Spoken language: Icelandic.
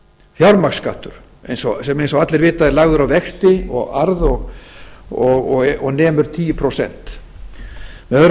fjármagnsskattur sem eins og allir vita er lagður á vexti og arð og nemur tíu prósent með